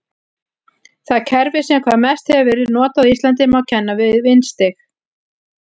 Það kerfi sem hvað mest hefur verið notað á Íslandi má kenna við vindstig.